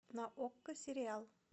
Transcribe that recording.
на окко сериал